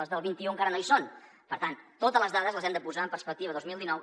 les del vint un encara no hi són per tant totes les dades les hem de posar en perspectiva dos mil dinou